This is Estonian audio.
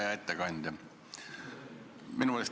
Hea ettekandja!